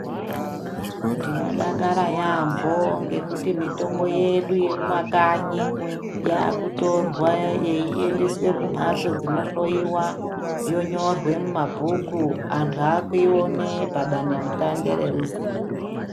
Tinodakara yaambo ngekuti mitombo yedu yemumakanyi yakutorwa yeiendeswe kumbatso dzinohloyiwa yonyorwe mumabhuku. Antu akuione padande mutande reruzivo.